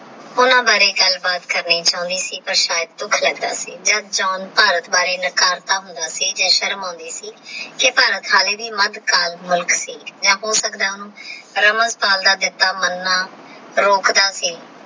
ਓਹਨਾ ਬਾਰੇ ਗੱਲ ਬਾਤ ਕਾਨੀ ਚੌਇ ਸੀ ਕੀ ਪਰ ਸਯਦ ਦੁਖ ਲਾਗ੍ਯ ਸੀ ਭਾਰਤ ਬਾਰੇ ਨਕਾਰ ਦਾ ਹੋਂਦਾ ਸੀ ਹੋਂਦੀ ਸੀ ਜੇ ਭਾਰਤ ਦਹਾਨੇ ਦੀ ਮਧ ਢਾਲ ਮਧ ਸੀ ਯਾ ਹੋ ਸਕਤਾ ਹੈ ਓਹਨੁ ਰਮਣ ਪਾਲ ਦਾ ਜੱਟਾ ਬਣਾ ਰੋਕਦਾ ਸੀ